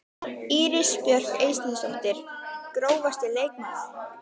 Íris Björk Eysteinsdóttir Grófasti leikmaðurinn?